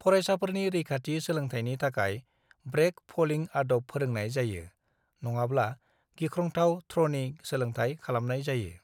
फरायसाफोरनि रैखाथि सोलोंथायनि थाखाय ब्रेक फलिं आदब फोरोंनाय जायो, नङाब्ला गिख्रंथाव थ्र'नि सोलोंथाय खालामनाय जायो।